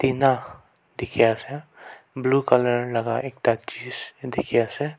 ena dekhi ase blue colour laga ekta chiz dekhi.